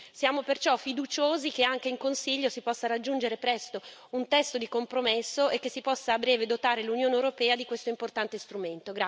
Siamo perciò fiduciosi che anche in Consiglio si possa raggiungere presto un testo di compromesso e che si possa a breve dotare l'Unione europea di questo importante strumento.